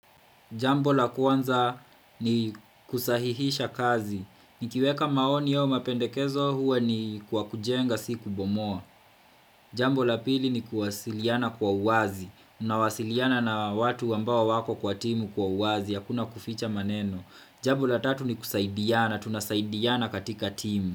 Jambo la kwanza ni kusahihisha kazi. Nikiweka maoni io mapendekezo huwa ni kwa kujenga siku bomoa. Jambo la pili ni kuwasiliana kwa uwazi. Unawasiliana na watu ambao wako kwa timu kwa uwazi, hakuna kuficha maneno. Jambo la tatu ni kusaidiana. Tunasaidiana katika timu.